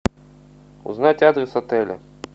узнать адрес отеля